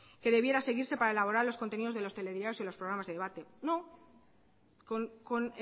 que debiera seguirse para elaborar los contenidos de los telediarios y los programas de debates con